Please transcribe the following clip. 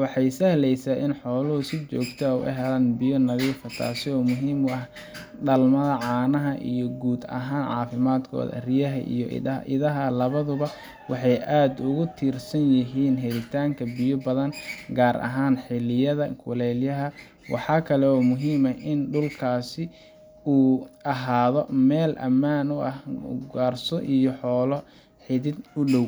waxay sahleysaa in xooluhu si joogto ah u helaan biyo nadiif ah, taasoo muhiim u ah dhalmada, caanaha, iyo guud ahaan caafimaadkooda. Riyaha iyo idaha labaduba waxay aad ugu tiirsan yihiin helitaanka biyo badan gaar ahaan xilliyada kulaylaha. Waxa kale oo muhiim ah in dhulkaasi uu ahaado meel ammaan ah oo aan ugaarsato iyo xoolo xidi kudow